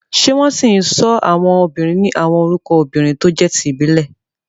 Ṣé wọ́n ṣì ń sọ àwọn obìnrin ní àwọn orúkọ obìnrin tó jẹ́ ti ìbílẹ̀?